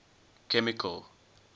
chemical